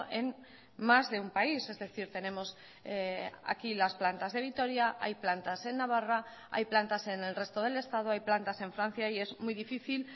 en más de un país es decir tenemos aquí las plantas de vitoria hay plantas en navarra hay plantas en el resto del estado hay plantas en francia y es muy difícil